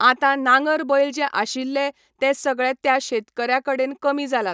आतां नांगर बैल जे आशिल्ले, ते सगळे त्या शेतकऱ्या कडेन कमी जालात.